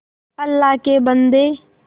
अल्लाह के बन्दे